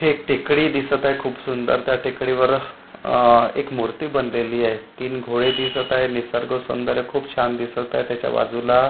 इथे एक टेकडी दिसत आहे खूप सुंदर त्या टेकडीवर अ एक मूर्ती बनलेली आहे तीन घोडे दिसत आहे निसर्ग सौंदर्य खूप छान दिसत आहे त्याच्या बाजूला--